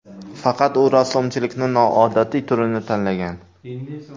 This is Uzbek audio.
Faqat u rassomchilikning noodatiy turini tanlagan.